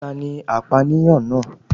Tani apánìyàn náà